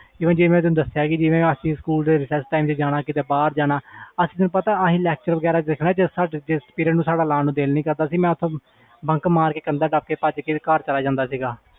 ਜਿਵੇ ਮੈਂ ਤੈਨੂੰ ਦਸਿਆ ਕਿ Recess time ਬਾਹਰ ਜਾਣਾ ਅਸੀਂ lecture ਵਗੈਰਾ ਦੇਖਣੇ ਜੇ ਸਾਡਾ ਲਾਣ ਨੂੰ ਦਿਲ ਨਹੀਂ ਕਰਦਾ ਸੀ ਤੇ ਅਸੀਂ bunck ਮਾਰ ਲੈਣਾ